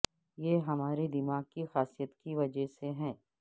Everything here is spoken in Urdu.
یہ ہمارے دماغ کی خاصیت کی وجہ سے ہے